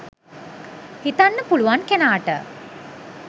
හිතන්න පුළුවන් කෙනාට